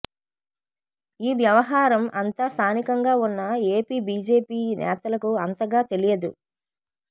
ఈ వ్యవహారం అంతా స్ధానికంగా ఉన్న ఏపీ బీజేపీ నేతలకు అంతగా తెలియదు